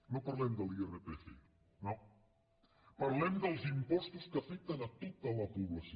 no parlem de l’lrpf no parlem dels impostos que afecten a tota la població